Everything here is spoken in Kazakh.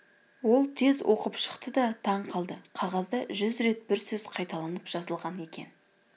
ол тез оқып шықты да таң қалды қағазда жүз рет бір сөз қайталанып жазылған екен